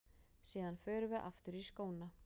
Síðan förum við aftur í skóna.